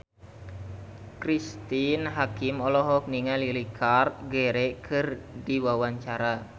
Cristine Hakim olohok ningali Richard Gere keur diwawancara